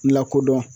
Lakodɔn